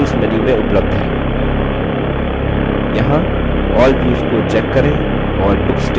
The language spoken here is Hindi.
यहाँ all views को check करें और books table को check करें